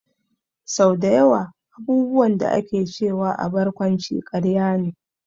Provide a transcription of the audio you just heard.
Sau dayawa abubuwan da ake cewa a barkwanci karya ne